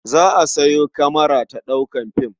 Za a sayo kamara ta ɗaukar fim.